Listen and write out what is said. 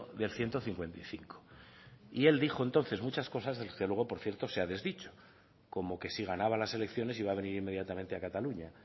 del ciento cincuenta y cinco y él dijo entonces muchas cosas que luego por cierto se ha desdicho como que si ganaba las elecciones iba a venir inmediatamente a cataluña